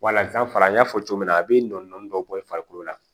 Walas'an fana y'a fɔ cogo min na a bɛ nɔɔni dɔ bɔ i farikolo la